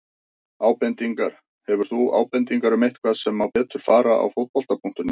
Ábendingar: Hefur þú ábendingar um eitthvað sem má betur fara á Fótbolta.net?